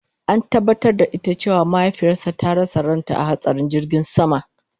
An tabatar da ita cewa mahaifiyarta ta rasa ranta a hatsarin jirgin sama